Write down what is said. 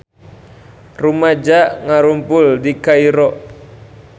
Rumaja ngarumpul di Kairo